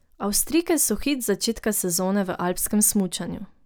Avstrijke so hit začetka sezone v alpskem smučanju.